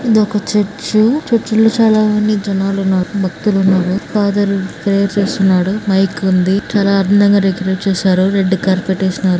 ఇది ఒక church . Church లో చాలా మంది జనాలు ఉన్నారు. భక్తులు ఉన్నారు. ఫాదర్ ప్రేయర్ చేస్తున్నాడు. మైక్ ఉంది. చాలా అందంగా డెకరేట్ చేశారు. రెడ్ కార్పెట్ వేసినారు.